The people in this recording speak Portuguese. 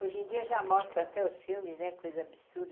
Hoje em dia já mostra até os filmes, né, coisa absurda,